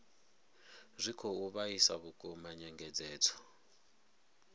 zwi khou vhaisa vhukuma nyengedzedzo